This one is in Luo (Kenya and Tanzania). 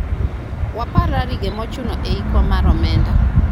wapar rarige mochuno e hikwa mar omenda